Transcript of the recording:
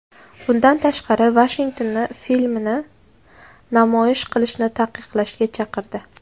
Bundan tashqari, Vashingtonni filmni namoyish qilishni taqiqlashga chaqirdi.